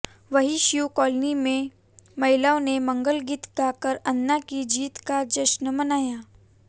वहीं शिव कालोनी में महिलाओं ने मंगलगीत गाकर अन्ना की जीत का जश्र मनाया